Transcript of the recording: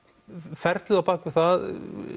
ferlið á bak við það